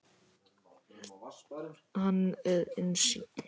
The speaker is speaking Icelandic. Hann er einsýnn.